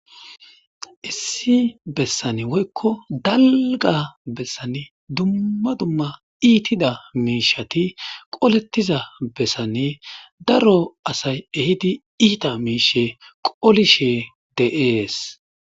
Issi bessan woykko dallga bessan dumma dumma iitida miishati qolettiza bessanne daro asay ehidi iita miishe qolishe deees.